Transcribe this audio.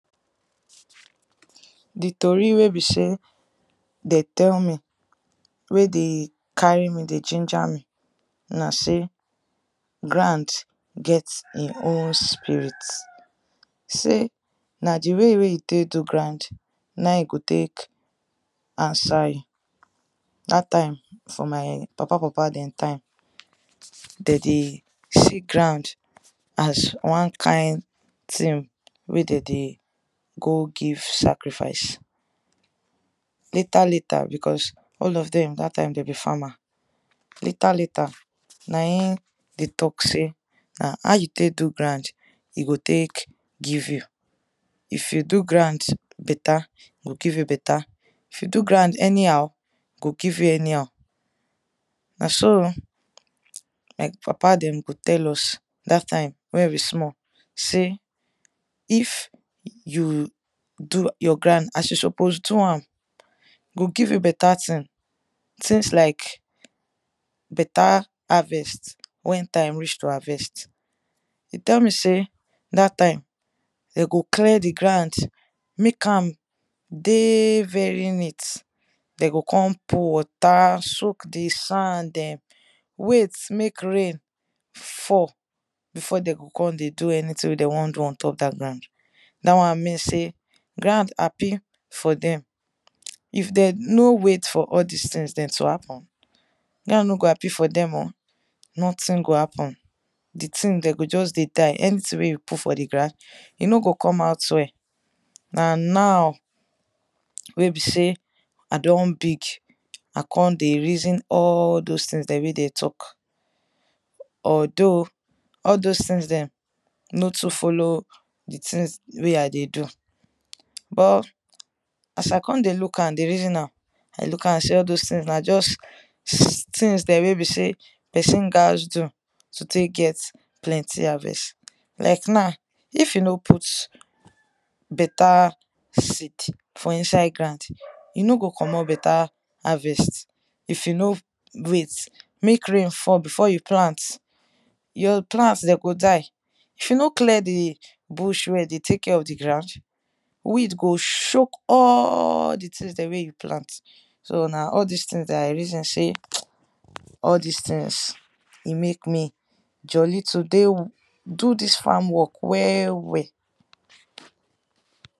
di tori wey be sey de tell me wey dey carry me dey ginger me na sey grand get e own spirit sey na di wey wey yu tek do grand na e go tek answer you. dat time for my papa papa dem time de dey see grand as wan kain thing wey de dey go give sacrifice. later later because all of dem dat time de be farmer later later na in de talk sey na how you tk do grand, e go tek give you. if you do grand beta, e give you beta if you do grand anyhow, e give you anyhow. na so oh like papa dem go tell us wen we small sey if you do your grand as you suppose do am, e go give you beta thing things like beta harvest wen time reach to harvest. e tell me say dat time de go clear di grand mek am dey very neat de go kon pou water soak di sand dem wait mek rain fall before de go kon dey do anything wey de won do ontop da grand. da wan mean sey grand happi for dem. if dem no wait for all dis things to happen, grand no go happifor dem o, nothing go happen di thing de go just dey die anything wey you put for grand e no go come out well na now wey be sey I don big, I kon dey reason all those things wey dem talk although, all those things dem no too follow di things wey i dey do bu as i kon dey look am dey reason am I look am sey all those things na just things dem wey be sey pesin gas do to tek get plenty harvest. like now if you no put beta fiit for inside grand. e no go commot beta harvest if you no wait mek rain fall before you plant. your plant de go die if you no clear di bush well dey take care of di grand weed go shoke all di things dem wey dem plant so na all dis things dat i reason sey all dis things e mek me jolli today do dis farm work well well.